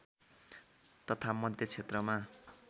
तथा मध्य क्षेत्रमा